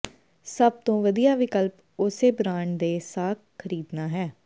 ਸਭ ਤੋਂ ਵਧੀਆ ਵਿਕਲਪ ਉਸੇ ਬ੍ਰਾਂਡ ਦੇ ਸਾਕ ਖਰੀਦਣਾ ਹੈ